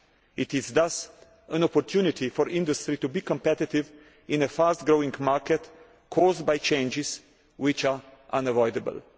This is thus an opportunity for industry to be competitive in a fast growing market caused by changes which are unavoidable.